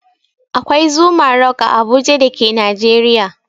Akwai Zuma rock a Abuja da ke Najeriya.